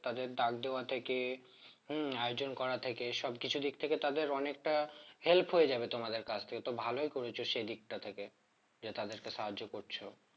তাদের দাগ দেওয়া থেকে হম high jump করা থেকে সবকিছু দিক থেকে তাদের অনেকটা help হয়ে যাবে তোমাদের কাছ থেকে তো ভালই করেছ সেই দিকটা থেকে যে তাদেরকে সাহায্য করছো